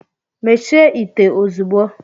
Mechie ite ozugbo!